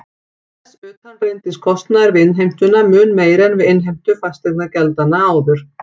Þess utan reyndist kostnaður við innheimtuna mun meiri en við innheimtu fasteignagjaldanna áður.